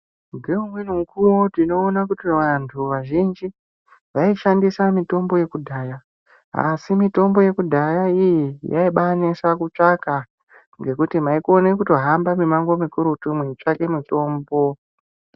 Ngeumweni mukuwo tinoona kuti vantu vazhinji, vaishandisa mitombo ye kudhaya, asi mitombo yekudhaya iyi yaibaanesa kutsvaka, ngekuti mwaikona kutohamba mumango mukurutu mweitsvake mutombo.